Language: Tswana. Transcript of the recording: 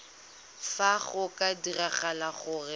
fa go ka diragala gore